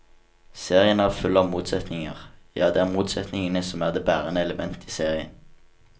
Serien er full av motsetninger, ja det er motsetningene som er det bærende elementet i serien.